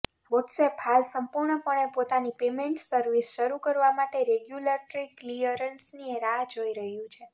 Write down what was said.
WhatsApp હાલ સંપૂર્ણપણે પોતાની પેમેન્ટ સર્વિસ શરૂ કરવા માટે રેગ્યુલેટરી ક્લિયરન્સની રાહ જોઈ રહ્યું છે